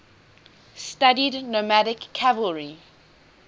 studied nomadic cavalry